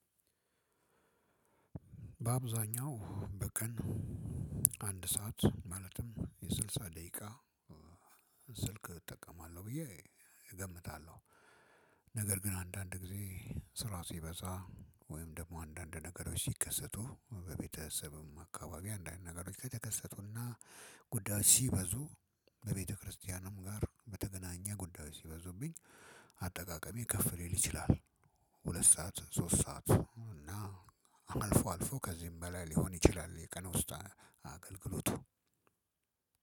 በአብዛኛው በቀን አንድ ሰዓት ማለትም የስልሳ ደቂቃ ስልክ እጠቀማለሁ ብዬ እገምታለሁ። ነገር ግን አንዳንድ ጊዜ ስራ ሲበዛ ወይም ደሞ አንዳንድ ነገሮች ሲከሰቱ በቤተሰብም አካባቢ አንዳንድ ነገሮች ከተከሰቱ እናጉዳዮች ሲበዙ በቤተክርስቲያንም ጋር በተገናኘ ጉዳዮች ሲበዙብኝ አጠቃቀሜ ከፍ ሊል ይችላል። ሁለት ሰዓት ሶስት ሰዓት እና አልፎ አልፎ ከዚህም በላይ ሊሆን ይችላል። የቀን ውስጥ አገልግሎቱ